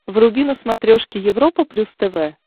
вруби на смотрешке европа плюс тв